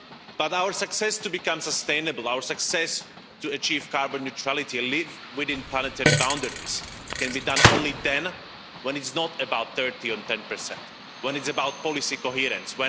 But our success to become sustainable, our success to achieve carbon neutrality, live within planetary boundaries, can only be done then when its not about 30 or 10, when its about policy coherence.